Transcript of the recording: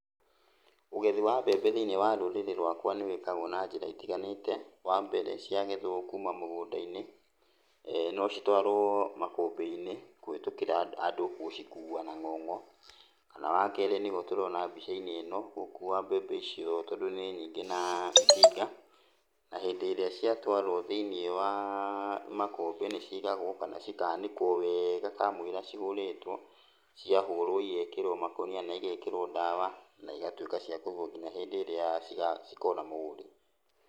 Ũgethi wa mbembe thĩiniĩ wa rũrĩrĩ rwakwa nĩwĩkagwo na njĩra itiganĩte . Wambere ciagethwo kuma mũgũnda-inĩ, nocitũarwo makũmbĩ-inĩ, kũhĩtũkĩra andũ gũcikua na ng'ong'o, kana wakerĩ nĩũguo tũrona mbica-inĩ ĩno gũkua mbembe icio tondũ nĩ nyingĩ na itinga, na hĩndĩ ĩrĩa ciatwarwo thĩiniĩ wa, makũmbĩ nĩcigagũo kana cikanĩkwo weega kamũiria cihũrĩtwo, ciahũrwo igekĩrwo makũnia na igekĩrwo ndawa na igatuĩka cia kũigwo kinya hĩndĩ ĩrĩa cira cikona mũgũri.